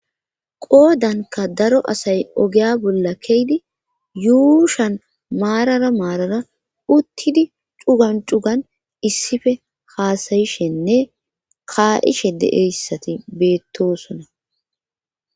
qoodanka daro asay ogeya bolla keydi yuushan maarara maarara uttidi cugan cugan issife haasayishenne kaa7ishe deeyssati beettosona